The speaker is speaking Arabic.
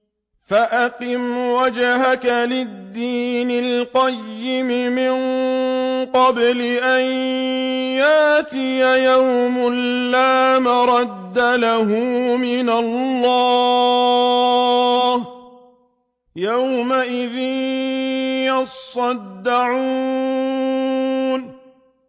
فَأَقِمْ وَجْهَكَ لِلدِّينِ الْقَيِّمِ مِن قَبْلِ أَن يَأْتِيَ يَوْمٌ لَّا مَرَدَّ لَهُ مِنَ اللَّهِ ۖ يَوْمَئِذٍ يَصَّدَّعُونَ